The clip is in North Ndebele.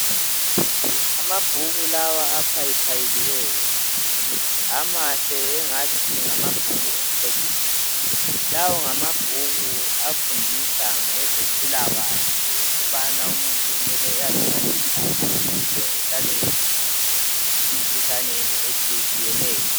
Amabhuku lawa aphayiphayilweyo amahle engathi ngamabhuku omceciso lawo ngamabhuku afundisa ngezempilakahle ukubana umuntu kumele aziphathe njani ukuze ehlale evikelekile emkhuhlaneni etshiyetshiyeneyo.